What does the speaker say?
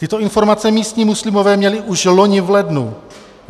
Tyto informace místní muslimové měli už loni v lednu.